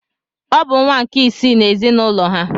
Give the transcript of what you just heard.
Ọ bụ nwa nke isii n’ezinụlọ ha.